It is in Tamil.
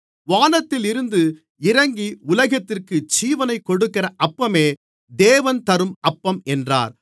வானத்தில் இருந்து இறங்கி உலகத்திற்கு ஜீவனைக் கொடுக்கிற அப்பமே தேவன் தரும் அப்பம் என்றார்